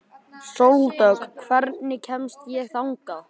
Sóldögg, hvernig kemst ég þangað?